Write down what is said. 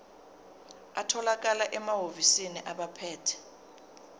atholakala emahhovisi abaphethe